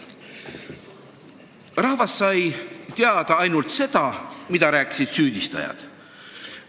Rahvas sai teada ainult seda, mida rääkisid süüdistajad.